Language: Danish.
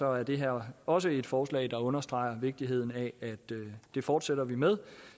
er det her også et forslag der understreger vigtigheden af at det fortsætter vi med